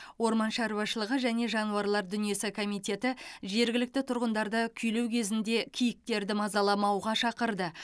орман шаруашылығы және жануарлар дүниесі комитеті жергілікті тұрғындарды күйлеу кезінде киіктерді мазаламауға шақырды